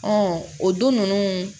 o du ninnu